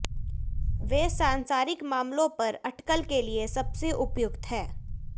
वे सांसारिक मामलों पर अटकल के लिए सबसे उपयुक्त हैं